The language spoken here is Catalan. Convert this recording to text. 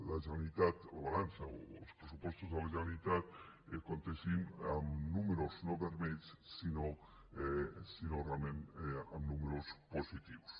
la generalitat el balanç o els pressupostos de la generalitat comptessin amb números no vermells sinó amb números positius